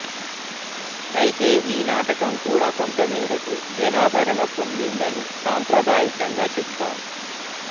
అయితే ఈ నాటకం కూడా కొంతమేరకు జనాదరణ పొందిందని సాంప్రదాయికంగా చెపుతారు